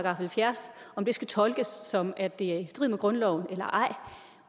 halvfjerds skal tolkes som at det er i strid med grundloven eller ej